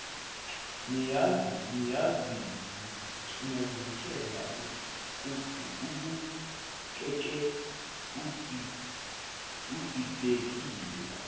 niyazivikela abukeke edidekile